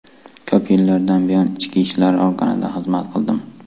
Ko‘p yillardan buyon Ichki ishlar organida xizmat qildim.